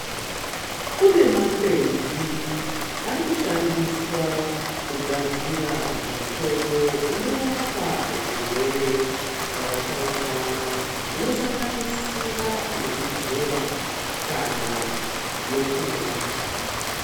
Kune makwenzi arikushandiswa kugadzira mitombo inorapa zvirwere zvakatsaukana zvinosanganisira yekuzora kana yokumwa.